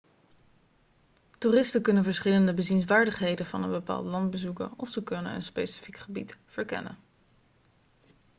toeristen kunnen verschillende bezienswaardigheden van een bepaald land bezoeken of ze kunnen een specifiek gebied verkennen